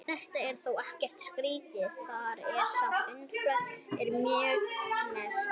þetta er þó ekkert skrítið þar sem upplifunin er mjög sterk